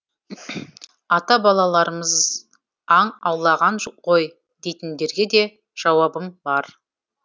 ата балаларымыз аң аулаған ғой дейтіндерге де жауабым бар